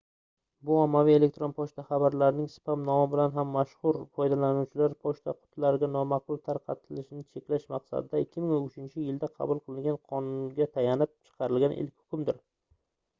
bu ommaviy elektron pochta xabarlarining spam nomi bilan ham mashhur foydalanuvchilar pochta qutilariga nomaqbul tarqatilishini cheklash maqsadida 2003-yilda qabul qilingan qonunga tayanib chiqarilgan ilk hukmdir